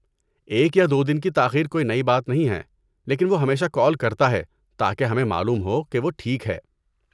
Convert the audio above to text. ایک یا دو دن کی تاخیر کوئی نئی بات نہیں ہے لیکن وہ ہمیشہ کال کرتا ہے تاکہ ہمیں معلوم ہو کہ وہ ٹھیک ہے۔